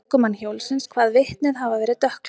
Ökumann hjólsins kvað vitnið hafa verið dökkklæddan.